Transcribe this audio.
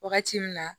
Wagati min na